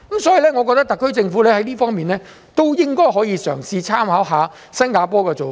所以，我認為特區政府在這方面也應該可以嘗試參考新加坡的做法。